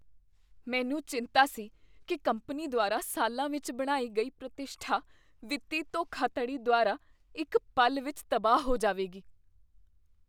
ਮੈਨੂੰ ਚਿੰਤਾ ਸੀ ਕੀ ਕੰਪਨੀ ਦੁਆਰਾ ਸਾਲਾਂ ਵਿੱਚ ਬਣਾਈ ਗਈ ਪ੍ਰਤਿਸ਼ਠਾ ਵਿੱਤੀ ਧੋਖਾਧੜੀ ਦੁਆਰਾ ਇੱਕ ਪਲ ਵਿੱਚ ਤਬਾਹ ਹੋ ਜਾਵੇਗੀ।